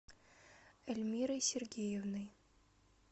эльмирой сергеевной